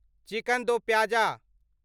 chicken दो प्याज